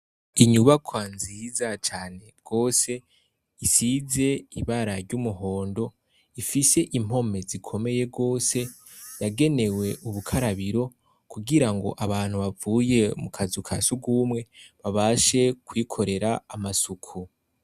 Inyubakwa nziza cane rwose, Isize ibara ry'umuhondo, rifise impome zikomeye rwose yagenewe ubukarabiro kugirango abantu bavuye mukazu ka sugumwe babashe kwikorera amasuku.